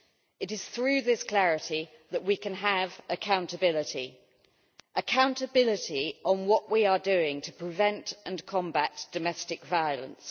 It is through this clarity that we can have accountability accountability on what we are doing to prevent and combat domestic violence.